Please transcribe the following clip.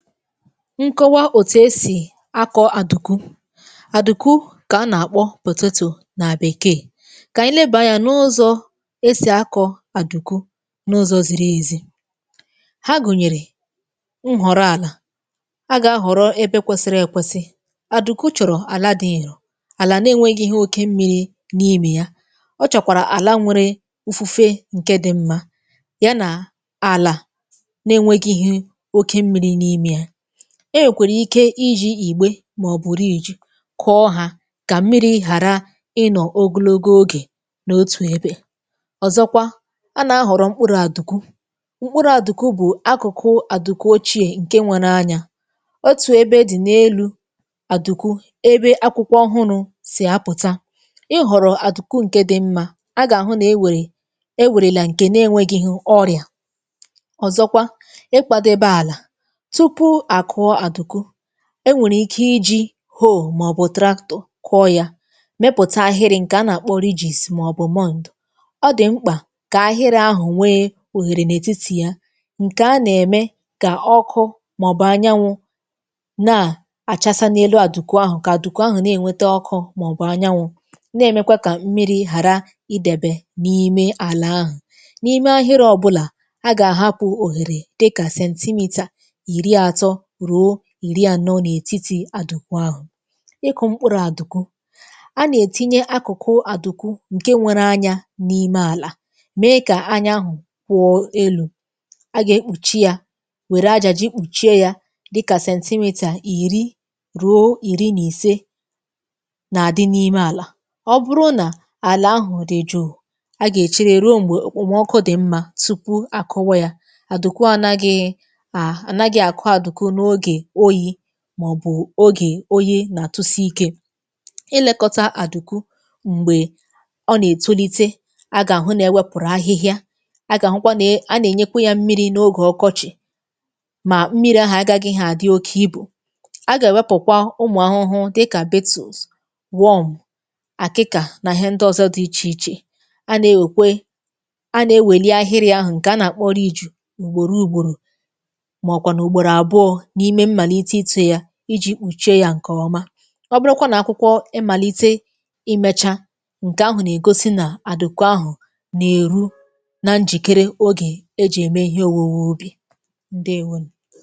Nkọwa òtù esì akọ̀ àdùku. Adùku kà a nà-àkpọ nà bèkeè. Kà ànyị lebà anyȧ n’ụzọ̇ esì akọ̀ àdùku n’ụzọ̇ ziri èzi: Ha gụ̀nyèrè, nhọ̀rọ̀ àlà, a gà-ahọ̀rọ ebe kwesiri èkwesi, àdùku chọ̀rọ̀ àla dị nro, àlà na-enwėgịghị oke mmiri̇ n’imè ya, ọ chọ̀kwàrà àla nwėrė ufufė ǹke dị mmȧ, ya nà àlà na-enwėgịghị oké mmiri n'ime ya. E nwèkwèrè ike iji̇ ìgbè mà ọ̀ bụ̀ kụọ hà kà mmiri̇ ghàra ịnọ̀ ogologo ogè n’otù ebe. Ọzọkwa, a nà-ahọ̀rọ̀ mkpụrụ̇ adùku, mkpụrụ̇ àdùku bụ̀ akụ̀kụ àdùku ochiè ǹke nwere anyȧ, otù ebe dị̀ n’elu àdùku ebe akwụkwọ ọhụrụ̇ sì apụ̀ta, ihọ̀rọ̀ adùku ǹke dị mmȧ, a gà-àhụ nà e wèrè e wèrèlà ǹke na-enwėgịghị ọrịà, ọ̀zọkwa ịkwȧdebe àlà, tupu a kụọ adùku, enwèrè ike iji̇ màọbụ̇ kụọ yȧ, mepụ̀ta ahịrị̇ ǹkè a nà-àkpọ màọbụ̇. Ọ dị̀ mkpà kà ahịrị̇ ahụ̀ nwee òhèrè n’ètitì ya, ǹkè a nà-ème kà ọkụ màọbụ̇ anyanwụ̇ na-àchasa n’elu àdùku ahụ̀, kà àdùku ahụ̀ na-ènwete ọkụ màọbụ̇ anyanwụ̇, na-èmekwa kà mmiri̇ hàra idėbè n’ime àlà ahụ̀. N’ime ahịrị̇ ọbụlà, a gà-àhapụ̇ òhèrè dịkà iri atọ ruo iri ànọ n’ètitì adụ̀kù ahụ̀. Ịkụ̇ mkpụrụ̇ àdụ̀kù, a na-etinye akụ̀kụ̀ àdụ̀kù ǹke nwere anyȧ n’ime àlà, mee kà anya ahụ̀ kwụọ elu̇, a gà-ekpùchi yȧ, wère aja ji kpùchie ya dịkà ìri ruo ìri nà ise nà adị̇ n’ime àlà, ọ bụrụ nà àlà ahụ̀ dị jụụ̀ a gà-èchere ruo m̀gbè okpòmọkụ dị mmȧ tupu àkụwa yȧ, àdụ̀kù ànagị a, anagi akụ àdùku n'oge oyi, màọbụ̀ ogè oyi nà-àtụsi ikė. Ịlėkọta àdùku m̀gbè ọ nà-ètolite. Agà-àhụ na-ewepụ̀rụ̀ ahịhịa, agà-àhụkwa ne a nà-ènyekwa ya mmiri n’ogè ọkọchị̀ mà mmiri ahụ̀ agagịghị àdị oke ibù, agà-èwepụ̀kwa ụmụ̀ ahụhụ dịkà, àkịkà na ihe ndị ọzọ dị ichè ichè, a nà ewèkwe, a nà-eweli ahịrịa ahụ̀ ǹke a nà-àkpọ ùgbòrò ùgbòrò, ma ọ kwanụ ugboro abụọ, n'ime mmalite ịtụ ya iji̇ kpuchie yȧ ǹkè ọma, ọbụrụkwa nà akwụkwọ imàlite imechà, ǹkè ahụ̀ nà-ègosi nà àdùku ahụ̀ nà-èru na njìkere ogè ejì ème ihe òwuwe ubì, ǹdewonù.